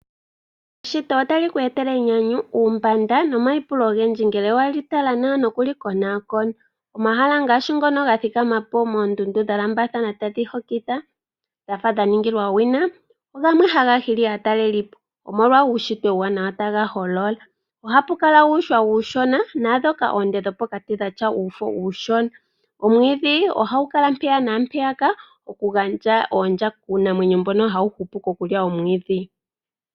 Eshito otali ku etele enyapu , uumbanda nomaipulo ogendji ngele weli tala nawa noku li konaakona. Omahala ngaashi ngono ga thikama po moondundu dha lambathana tadhi hokitha dhafa dha ningilwa owina , ogo gamwe haga hili aatalelipo omolwa uushitwe uuwanawa taga holola . Ohapu kala uuhwa uushona naa ndhoka oonde dhopokati dhatya uufo uushona . Omwiidhi ohagu kala mpeya naampeya ka oku gandja oondya kuunamwenyo mbona hawu hupu kokulya omwiidhi.